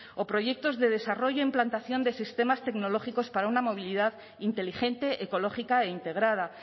o proyectos de desarrollo implantación de sistemas tecnológicos para una movilidad inteligente ecológica e integrada